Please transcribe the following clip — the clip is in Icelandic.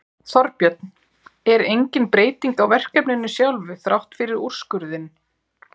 Þorbjörn: En engin breyting á verkefninu sjálfu þrátt fyrir úrskurðinn?